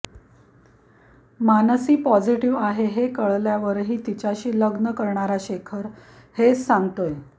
Mansi positive आहे हे कळल्यावरही तिच्याशी लग्न करणारा शेखर हेच सांगतोय